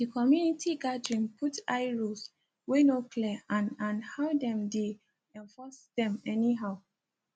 di community gathering put eye rules wey no clear and and how dem dey enforce dem anyhow